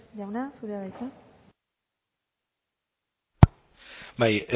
jauna zurea da bai